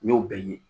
N y'o bɛɛ ye